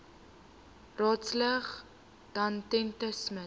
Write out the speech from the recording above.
raadslid danetta smit